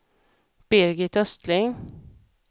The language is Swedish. Birgit Östling